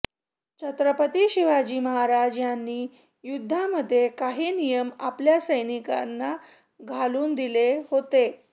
छत्रपती शिवाजी महाराज यांनी युध्दामध्ये काही नियम आपल्या सैनिकांना घालून दिले होते